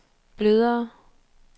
blødere